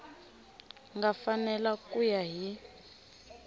nga fanela ku ya hi